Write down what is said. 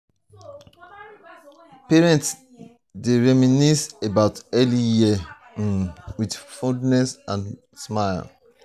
parents dey reminisce about early years um with fondness and smiles.